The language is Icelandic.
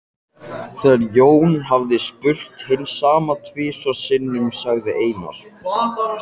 Þegar Jón hafði spurt hins sama tvisvar sinnum sagði Einar